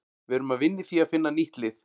Við erum að vinna í því að finna nýtt lið.